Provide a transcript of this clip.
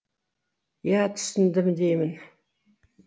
иә түсіндім деймін